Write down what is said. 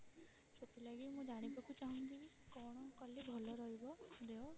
ସେଥିଲାଗି ମୁଁ ଜାଣିବାକୁ ଚାହୁଁଛି କି କଣ କଲେ ଭଲ ରହିବ ଦେହ?